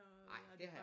Nej det har jeg